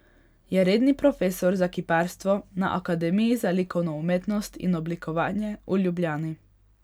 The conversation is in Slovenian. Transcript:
Je redni profesor za kiparstvo na Akademiji za likovno umetnost in oblikovanje v Ljubljani.